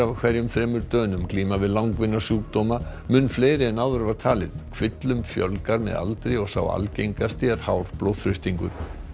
hverjum þremur Dönum glíma við langvinna sjúkdóma mun fleiri en áður var talið kvillum fjölgar með aldri og sá algengasti er hár blóðþrýstingur